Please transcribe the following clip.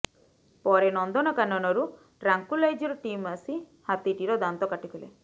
ପରେ ନନ୍ଦନକାନନରୁ tranquilliser team ଆସି ହାତୀଟିର ଦାନ୍ତ କାଟିଥିଲେ